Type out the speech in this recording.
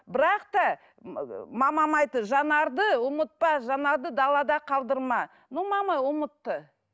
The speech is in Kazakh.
бірақ та мамама айтты жанарды ұмытпа жанарды далада қалдырма но мама ұмытты